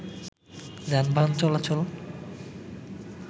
যানবাহান চলাচল